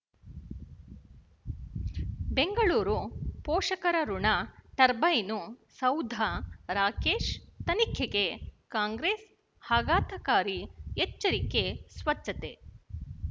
ಬೆಂಗಳೂರು ಪೋಷಕರಋಣ ಟರ್ಬೈನು ಸೌಧ ರಾಕೇಶ್ ತನಿಖೆಗೆ ಕಾಂಗ್ರೆಸ್ ಆಘಾತಕಾರಿ ಎಚ್ಚರಿಕೆ ಸ್ವಚ್ಛತೆ